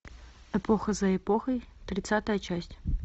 эпоха за эпохой тридцатая часть